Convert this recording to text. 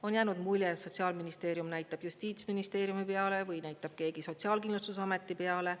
On jäänud mulje, et Sotsiaalministeerium näitab justiitsministeeriumi peale või näitab keegi Sotsiaalkindlustusameti peale.